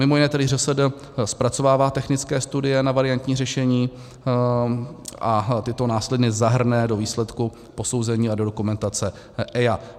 Mimo jiné tedy ŘSD zpracovává technické studie na variantní řešení a tyto následně zahrne do výsledku posouzení a do dokumentace EIA.